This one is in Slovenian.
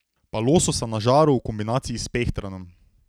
Pa lososa na žaru v kombinaciji s pehtranom.